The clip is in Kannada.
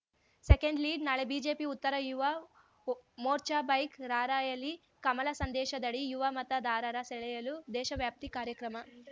ಸೆಕೆಂಡ್‌ಲೀಡ್‌ ನಾಳೆ ಬಿಜೆಪಿ ಉತ್ತರ ಯುವ ಮೋರ್ಚಾ ಬೈಕ್‌ ರಾರ‍ಯಲಿ ಕಮಲ ಸಂದೇಶದಡಿ ಯುವ ಮತದಾರರ ಸೆಳೆಯಲು ದೇಶವ್ಯಾಪಿ ಕಾರ್ಯಕ್ರಮ